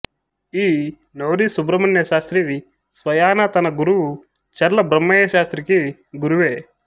ఈ నోరి సుబ్రహ్మణ్యశాస్త్రి స్వయానా తన గురువు చర్ల బ్రహ్మయ్యశాస్త్రికీ గురువే